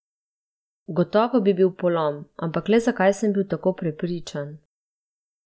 Gotovo bi bil polom, ampak le zakaj sem bil tako prepričan?